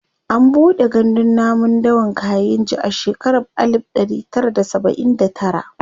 an buɗe gandun namun dawan kainji a shekara alib ɗari Tara da saba'in da tara